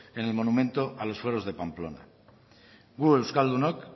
en el monumento a los fueros de pamplona gu euskaldunok